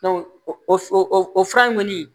o fura in kɔni